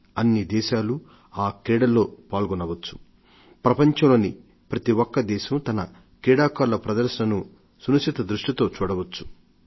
అన్నిదేశాలూ ఆ క్రీడలలో సునిశిత దృష్టితో చూడవచ్చు